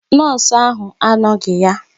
Nọọsụ ahụ anoghi ya.